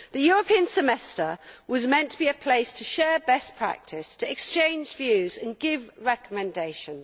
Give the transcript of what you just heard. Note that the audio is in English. The European Semester was meant to be a place to share best practice, to exchange views and give recommendations.